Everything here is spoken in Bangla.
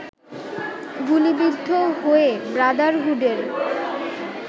গুলিবিদ্ধ হয়ে ব্রাদারহুডের